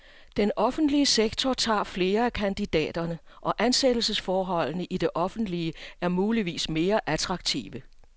Den offentlige sektor tager flere af kandidaterne, og ansættelsesforholdene i det offentlige er muligvis mere attraktive.